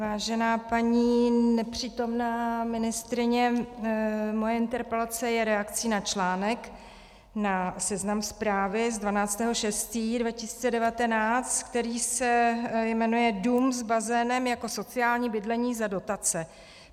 Vážená paní nepřítomná ministryně, moje interpelace je reakcí na článek na Seznam zprávy z 12. 6. 2019, který se jmenuje Dům s bazénem jako sociální bydlení za dotace.